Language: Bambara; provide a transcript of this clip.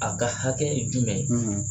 A ka hakɛ jumɛn ye?